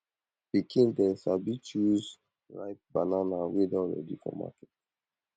pikin dem sabi choose ripe banana wey don ready for market